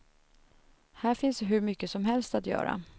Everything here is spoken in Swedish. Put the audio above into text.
Här finns hur mycket som helst att göra.